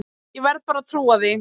Ég verð bara að trúa því.